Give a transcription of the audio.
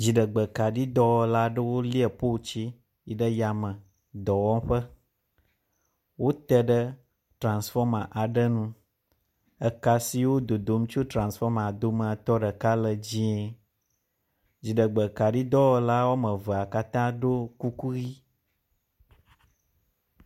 dziɖegbe kaɖi dɔwɔlaɖewó lie poltsi yiɖe yame dɔwɔƒe, wóteɖe transfɔma aɖe nu, ekasiwo dodom tso transfɔma domeatɔ ɖeka le dzĩe, dziɖegbekaɖi dɔwɔlawoamevea katã ɖo kuku ɣi